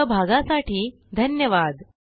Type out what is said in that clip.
सहभागासाठी धन्यवाद